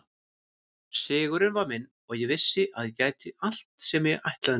Sigurinn var minn og ég vissi að ég gæti allt sem ég ætlaði mér.